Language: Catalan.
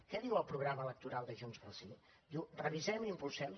què diu el programa electoral de junts pel sí diu revisem i impulsem